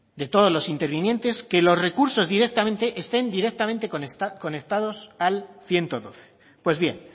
de todos los intervinientes que los recursos estén directamente conectados al ciento doce pues bien